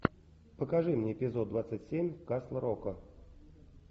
покажи мне эпизод двадцать семь касл рока